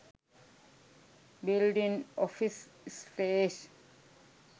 building office space